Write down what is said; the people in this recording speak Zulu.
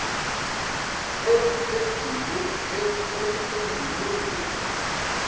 endulondulo